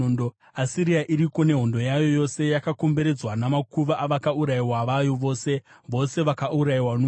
“Asiria iriko nehondo yayo yose; yakakomberedzwa namakuva avakaurayiwa vayo vose, vose vakaurayiwa nomunondo.